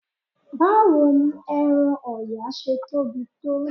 Báwo ni ẹran Ọ̀yà ṣe tóbi tó?